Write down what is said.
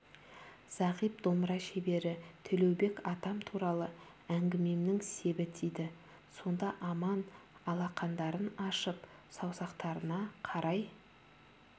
зағип домбыра шебері төлеубек атам туралы әңгімемнің себі тиді сонда аман алақандарын ашып саусақтарына қарай